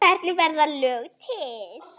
Hvernig verða lög til?